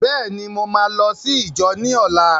Bẹ́ẹ̀ ni, mo máa lọ sí íjọ ní ọlá.